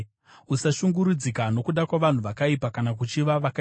Usashungurudzika nokuda kwavanhu vakaipa, kana kuchiva vakaipa,